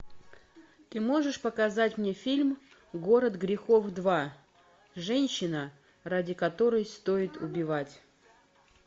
ты можешь показать мне фильм город грехов два женщина ради которой стоит убивать